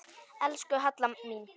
Elsku Halla mín.